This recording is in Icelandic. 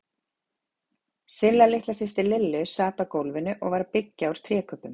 Silla litla systir Lillu sat á gólfinu og var að byggja úr trékubbum.